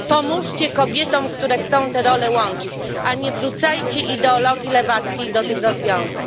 Pomóżcie kobietom, które chcą te role łączyć, a nie wrzucajcie ideologii lewackiej do tych rozwiązań.